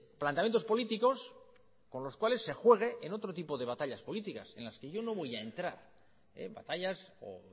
planteamientos políticos con los cuales se juegue en otro tipo de batallas políticas en las que yo no voy a entrar en batallas o